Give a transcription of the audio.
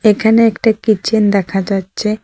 এখানে একটা কিচেন দেখা যাচ্ছে।